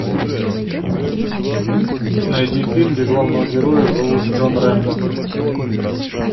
найди фильм где главного героя зовут джон рэмбо